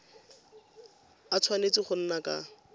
a tshwanetse go nna ka